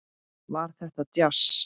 Var þetta djass?